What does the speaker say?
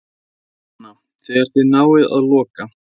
Jóhanna: Þegar þið náið að loka?